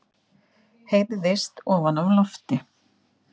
heyrðist ofan af lofti.